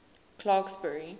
clarksburry